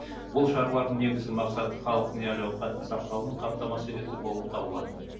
бұл шаралардың негізгі мақсаты халықтың әл ауқатының сақталуын қамтамасыз ету болып табылады